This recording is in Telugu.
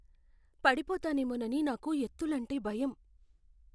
పడిపోతానేమోనని నాకు ఎత్తులంటే భయం.